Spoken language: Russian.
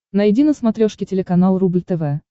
найди на смотрешке телеканал рубль тв